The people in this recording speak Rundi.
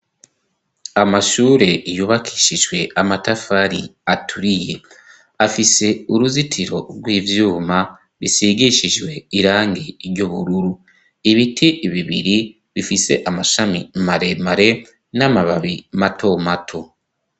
amashure yubakishijwe amatafari aturiye afise uruzitiro rw'ivyuma bisigishijwe irangi ry'ubururu ibiti bibiri bifise amashami mare mare n'amababi mato mato